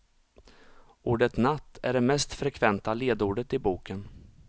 Ordet natt är det mest frekventa ledordet i boken.